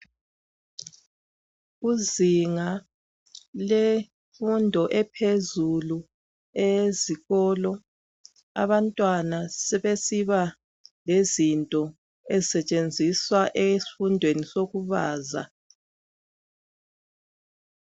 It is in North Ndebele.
Kuzinga lemfundo ephezulu eyezikolo abantwana sebesiba lezinto ezisetshenziswa esifundweni sokubaza.